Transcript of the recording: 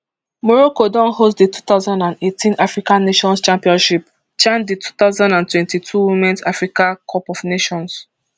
morocco don host di two thousand and eighteen african nations championship chan di two thousand and twenty-two womens africa cup of nations